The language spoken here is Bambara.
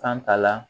Kan ta la